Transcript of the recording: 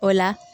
O la